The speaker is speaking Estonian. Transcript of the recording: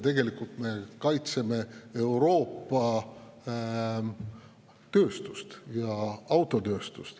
Tegelikult me kaitseme Euroopa tööstust, ka autotööstust.